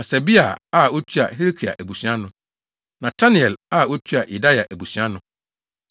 Hasabia a otua Hilkia abusua ano. Netanel a otua Yedaia abusua ano.